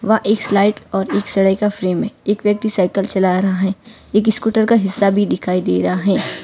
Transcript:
वा एक स्लाइट और एक का फ्रेम है एक व्यक्ति साईकल चला रहा है एक स्कूटर का हिस्सा भीं दिखाई दे रहा हैं।